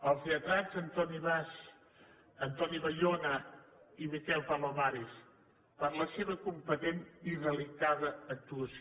als lletrats àlex bas antoni bayona i miquel palomares per la seva competent i delicada actuació